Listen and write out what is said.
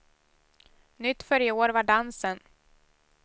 Nytt för i år var dansen.